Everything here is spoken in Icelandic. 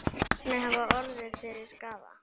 Hverjir hafa orðið fyrir skaða?